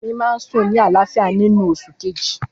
Fẹ́mi máa ń sùn ní àlàáfíà nínú oṣù kejì.